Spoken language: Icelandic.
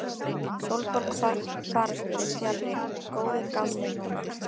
Sólborg fararstjóri fjarri góðu gamni núna.